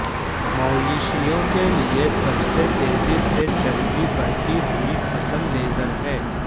مویشیوں کے لئے سب سے تیزی سے چربی بڑھتی ہوئی فصل لیزر ہے